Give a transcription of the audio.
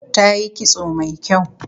Tayi kitso mai kyau